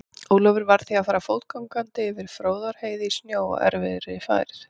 Ólafur varð því að fara fótgangandi yfir Fróðárheiði í snjó og erfiðri færð.